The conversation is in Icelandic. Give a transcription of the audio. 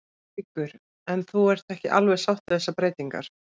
Haukur: En þú ert ekki alveg sátt við þessar breytingar?